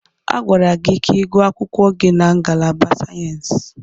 Agwara gị ka ịgụọ akwụkwọ gị na ngalaba sayensị!